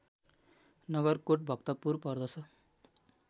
नगरकोट भक्तपुर पर्दछ